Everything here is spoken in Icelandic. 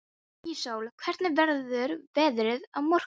Íssól, hvernig verður veðrið á morgun?